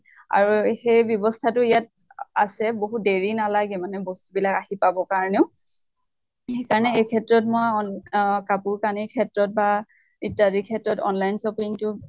আৰু সেই ব্য়ৱ্স্থা টো ইয়াত আছে। বহুত দেৰি নালাগে মানে বস্তু বিলাক আহি পাবৰ কাৰণেও। সেই কাৰণে এই ক্ষেত্ৰত মই অহ কাপোৰ কানি ক্ষেত্ৰত বা ইত্য়াদি ক্ষেত্ৰত online shopping টো